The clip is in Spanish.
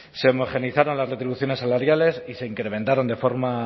se homogeneizaron las retribuciones salariales y se incrementaron de forma